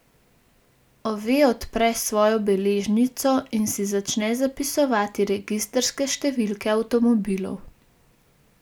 Ove odpre svojo beležnico in si začne zapisovati registrske številke avtomobilov.